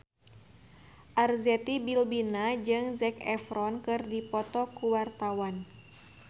Arzetti Bilbina jeung Zac Efron keur dipoto ku wartawan